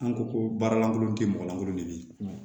An ko ko baara lankolon tɛ mɔgɔ lankolon de ye